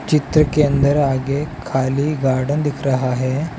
चित्र के अंदर आगे खाली गार्डन दिख रहा है।